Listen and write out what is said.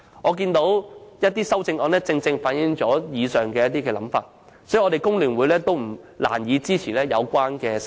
我們看到有些修正案正正反映了上述思維，因此我和工聯會實難以支持這些修正案。